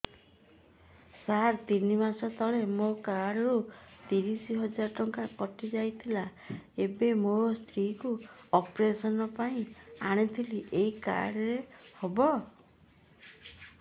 ସାର ତିନି ମାସ ତଳେ ମୋ କାର୍ଡ ରୁ ତିରିଶ ହଜାର ଟଙ୍କା କଟିଯାଇଥିଲା ଏବେ ମୋ ସ୍ତ୍ରୀ କୁ ଅପେରସନ ପାଇଁ ଆଣିଥିଲି ଏଇ କାର୍ଡ ରେ ହବ